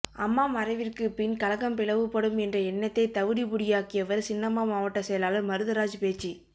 அம்மா மறைவிற்கு பின் கழகம் பிளவுபடும் என்ற எண்ணத்தை தவிடுபொடியாக்கியவர் சின்னம்மா மாவட்ட செயலாளர் மருதராஜ் பேச்சு